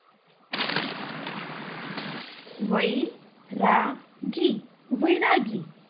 વૈરાગી વૈરાગી